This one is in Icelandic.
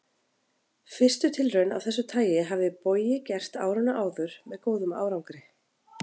Fyrstu tilraun af þessu tagi hafði Bogi gert árinu áður með góðum árangri.